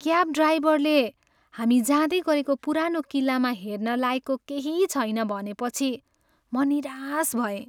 Cab ड्राइभरले हामी जाँदै गरेको पुरानो किल्लामा हेर्न लायकको केही छैन भनेपछि, म निराश भएँ।